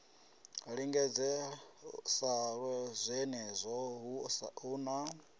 linganela sa zwenezwo hu na